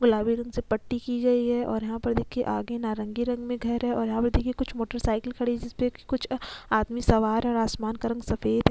गुलाबी रंग से पट्टी की गई है और यहाँ पर देखिये आगे नारंगी रंग में घर है और यहाँ पे देखिए कुछ मोटरसाइकिल खड़ी है जिसपे की कुछ आदमी सवार है और आसमान का रंग सफ़ेद --